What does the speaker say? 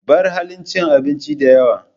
Bar halin cin abinci da yawa.